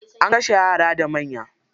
An kashe yara da manya.